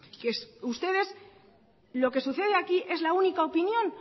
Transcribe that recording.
lo que sucede aquí es la única opinión